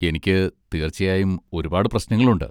എനിക്ക് തീർച്ചയായും ഒരുപാട് പ്രശ്നങ്ങൾ ഉണ്ട്.